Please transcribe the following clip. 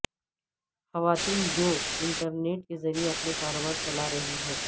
خواتین جو انٹرنیٹ کے ذریعے اپنے کاروبار چلا رہی ہیں